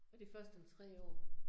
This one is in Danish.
Og det først om 3 år